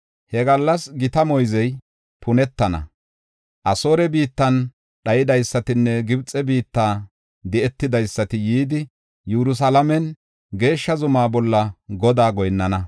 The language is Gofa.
He gallas gita moyzey punetana; Asoore biittan dhaydaysatinne Gibxe biitta di7etidaysati yidi, Yerusalaamen geeshsha zumaa bolla Godaa goyinnana.